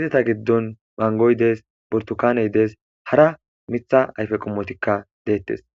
ezeta giddon manggoyi deesi burtukanney deesi harah miththa ayiffe qomottikka dettes.